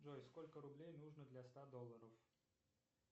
джой сколько рублей нужно для ста долларов